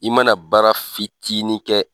I mana baara fitinin kɛ